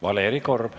Valeri Korb.